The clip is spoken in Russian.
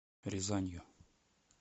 рязанью